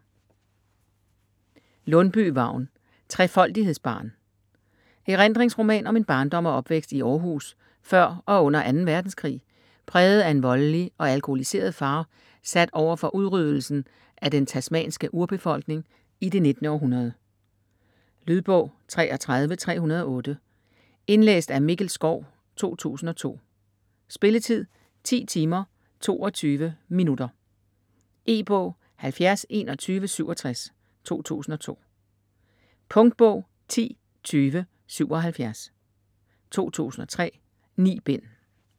Lundbye, Vagn: Trefoldighedsbarn Erindringsroman om en barndom og opvækst i Århus før og under 2. verdenskrig præget af en voldelig og alkoholiseret far sat over for udryddelsen af den tasmanske urbefolkning i det 19. århundrede. Lydbog 33308 Indlæst af Mikkel Schou, 2002. Spilletid: 10 timer, 22 minutter. E-bog 702167 2002. Punktbog 102077 2003. 9 bind.